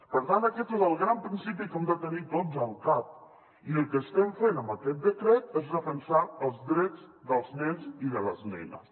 per tant aquest és el gran principi que hem de tenir tots al cap i el que estem fent amb aquest decret és defensar els drets dels nens i de les nenes